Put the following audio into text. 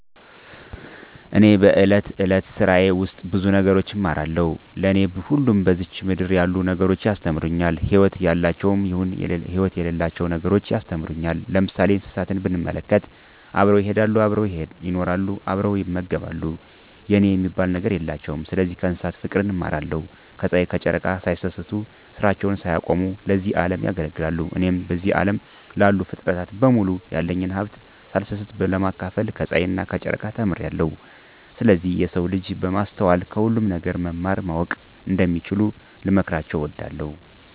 እኔ በእለት እለት ስራየ ውስጥ ብዙ ነገር እማራለሁ። ለኔ ሁሉም በዝች ምድር ያሉ ነገሮች ያስተምሩኛል ህይወት ያላቸውም ይሁን ህይወት የሌላቸው ነገሮች ያስተምሩኛል። ለምሳሌ እንስሳትን ብንመለከት አብረው ይሄዳሉ አብረው ይኖራሉ አብረው ይመገባሉ የኔ የሚባል ነገር የላቸውም ስለዚህ ከእንስሳት ፉቅርን እማራለሁ። ከጽሀይ ከጨረቃ ሳይሰስቱ ስራቸውን ሳያቆሙ ለዚህ አለም ያገለግላሉ። እኔም በዚህ አለም ላሉ ፉጥረታት በሙሉ ያለኝን ሀብት ሳልሰስት ለማካፈል ከጸሀይና ከጨረቃ ተምሬአለሁ። ስለዚህ የሰው ልጅ በማስተዋል ከሁሉም ነገር መማር ማወቅ እንደሚችሉ ልመክራቸው እወዳለሁ።